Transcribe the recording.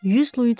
100 luidor?